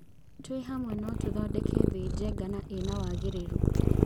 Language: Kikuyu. Tũĩhamwe no tũthondeke thĩ njega na ĩna wagĩrĩru.